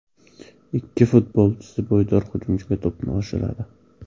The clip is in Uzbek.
Ikki futbolchisi bo‘ydor hujumchiga to‘pni oshiradi.